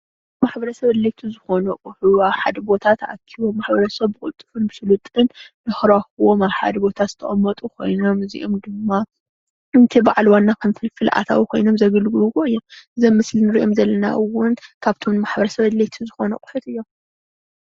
ንማሕበረሰብ ኣድለይቲ ዝኮኑ ኣቁሑ ኣብ ሓደ ቦታ ተኣኪቦም ማሕበረሰብ ብቅልጥፉን ብስሉጥን ንክረክቦም ኣብ ሓደ ቦታ ዝተቀመጡ ኮይኖም እዚኦም ድማ ነቲ በዓል ዋና ከም ፍልፍል ኣታዊ ኮይኖም ዘገልግልዎ እዮም ዞም ኣብ ምስሊ ንሪኦም ዘለና እዉን ካብቶም ንማሕበረሰብ ኣድለይቲ ዝኮኑ ኣቁሑት እዮም።